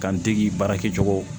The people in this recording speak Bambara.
K'an dege baara kɛcogo